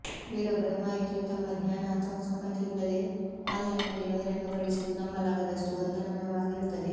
ಬೇರೊಬ್ಬರ ಮಾಹಿತಿಯು ತಮ್ಮ ಜ್ಞಾನ ಅಥವಾ ಸಮ್ಮತಿಯಿಲ್ಲದೆ ಆನ್ಲೈನ್ನಲ್ಲಿ ಬಹಿರಂಗಪಡಿಸುವುದು ನಂಬಲಾಗದಷ್ಟು ಗೊಂದಲಮಯವಾಗಿರುತ್ತದೆ